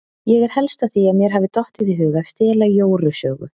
Ég er helst á því að mér hafi dottið í hug að stela Jóru sögu.